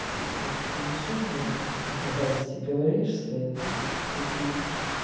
так что зачем ты мне тут какие-то гадости говоришь свои вот эти тупые